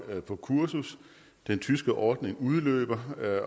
på kursus den tyske ordning udløber